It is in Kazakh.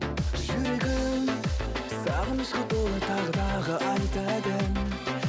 жүрегім сағынышқа толы тағы тағы айтады ән